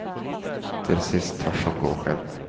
Till sist törs hon gå själv.